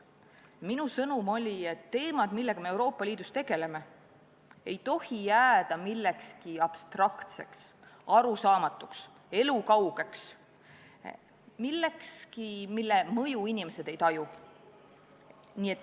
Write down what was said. Minu sõnum oli, et teemad, millega me Euroopa Liidus tegeleme, ei tohi jääda millekski abstraktseks, arusaamatuks, elukaugeks, millekski, mille mõju inimesed ei taju.